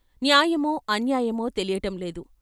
న్యాయమో, అన్యాయమో తెలియటంలేదు.